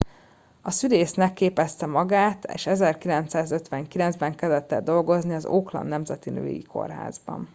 szülésznek képezte magát és 1959 ben kezdett el dolgozni az auckland nemzeti női kórházban